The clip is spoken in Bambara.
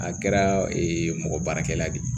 A kɛra mɔgɔ baarakɛla de ye